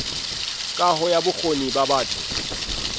kaho ya bokgoni ba batho